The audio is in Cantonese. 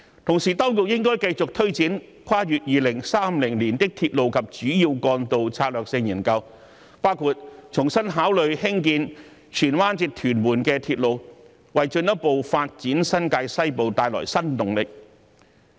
同時，當局應該繼續推展《跨越2030年的鐵路及主要幹道策略性研究》，包括重新考慮興建荃灣至屯門鐵路，為進一步發展新界西部帶來新動力。